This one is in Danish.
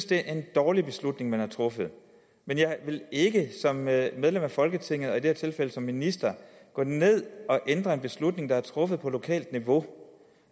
det er en dårlig beslutning man har truffet men jeg vil ikke som medlem af folketinget og i det her tilfælde som minister gå ned at ændre en beslutning der er truffet på lokalt niveau